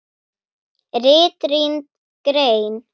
RITRÝND GREIN